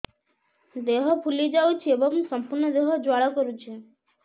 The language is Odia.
ଦେହ ଫୁଲି ଯାଉଛି ଏବଂ ସମ୍ପୂର୍ଣ୍ଣ ଦେହ ଜ୍ୱାଳା କରୁଛି